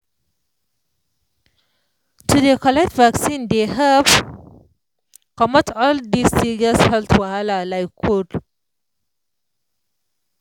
to dey collect vaccine dey help comot all dis serious health wahala like cold